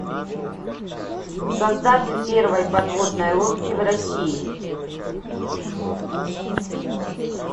создатель первой подводной лодки в россии